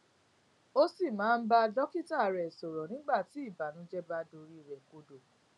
ó sì máa ń bá dókítà rẹ sòrò nígbà tí ìbànújé bá dorí rè kodò